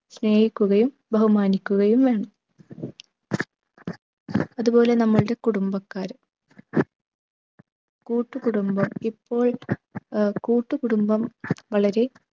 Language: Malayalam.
സ്നേഹിക്കുകയും ബഹുമാനിക്കുകയും വേണം. അതുപോലെ നമ്മളുടെ കുടുംബക്കാർ കൂട്ടുകുടുംബം ഇപ്പോൾ ഏർ കൂട്ടുകുടുംബം വളരെ